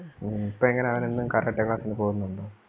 ഹും ഇപ്പൊ എങ്ങനാ അവൻ എന്നും karate class ന് പോന്നൊണ്ടോ?